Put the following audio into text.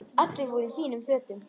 Allir voru í fínum fötum.